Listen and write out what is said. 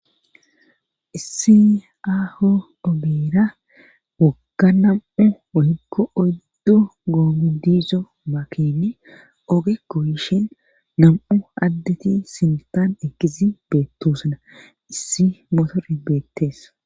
issi aaho obera wogga nam7u wohikko oddu googu dizo makine ogekko yishin nam7u addeti simtaan ekizi beettosana issi motore beettees